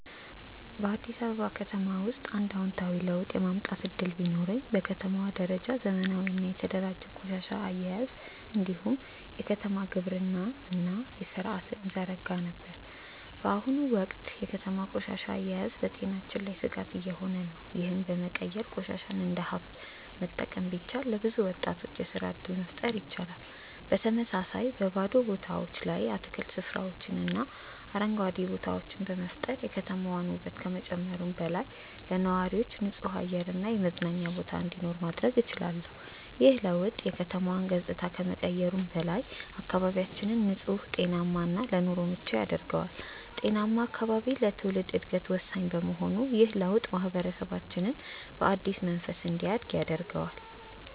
በአዲስ አበባ ውስጥ አንድ አዎንታዊ ለውጥ የማምጣት እድል ቢኖረኝ፣ በከተማዋ ደረጃ ዘመናዊና የተደራጀ የቆሻሻ አያያዝ እንዲሁም የከተማ ግብርና ሥርዓትን እዘረጋ ነበር። በአሁኑ ወቅት የከተማዋ ቆሻሻ አያያዝ በጤናችን ላይ ስጋት እየሆነ ነው፤ ይህንን በመቀየር ቆሻሻን እንደ ሀብት መጠቀም ቢቻል፣ ለብዙ ወጣቶች የስራ እድል መፍጠር ይቻላል። በተመሳሳይ፣ በባዶ ቦታዎች ላይ የአትክልት ስፍራዎችንና አረንጓዴ ቦታዎችን በመፍጠር የከተማዋን ውበት ከመጨመሩም በላይ፣ ለነዋሪዎች ንጹህ አየር እና የመዝናኛ ቦታ እንዲኖር ማድረግ እችላለሁ። ይህ ለውጥ የከተማዋን ገጽታ ከመቀየሩም በላይ፣ አካባቢያችንን ንጹህ፣ ጤናማ እና ለኑሮ ምቹ ያደርገዋል። ጤናማ አካባቢ ለትውልድ ዕድገት ወሳኝ በመሆኑ ይህ ለውጥ ማህበረሰባችንን በአዲስ መንፈስ እንዲያድግ ያደርገዋል።